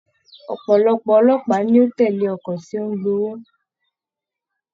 Ọpọlọpọ olópàá ni o tẹle ọkọ tí o n gb'owó.